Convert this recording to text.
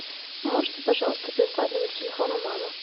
можете пожалуйста прислать номер телефона мамы